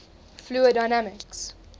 fluid dynamics